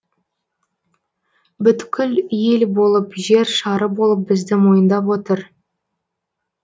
бүткіл ел болып жер шары болып бізді мойындап отыр